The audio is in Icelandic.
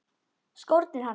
Skórnir hans.